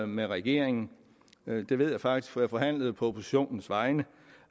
med regeringen det ved jeg faktisk for jeg forhandlede på oppositionens vegne